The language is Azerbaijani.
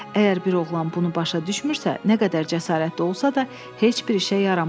Əgər bir oğlan bunu başa düşmürsə, nə qədər cəsarətli olsa da heç bir işə yaramaz.